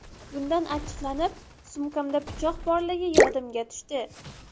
Bundan achchiqlanib, sumkamda pichoq borligi yodimga tushdi.